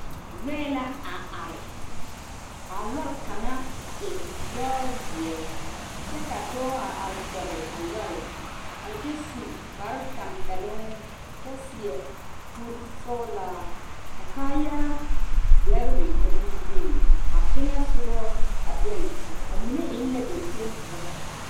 Lɔɛ la a are are kaa lɔre kaŋa a e ziɛ kyɛ ka dɔɔ a are kɔge a lɔre a kyɛ su kpare tanpɛloŋ kyɛ seɛ kuri sɔglaa ka kaayaa deɛre a biŋ biŋ a teŋa soga a e a mine e la ganteŋ poɔ.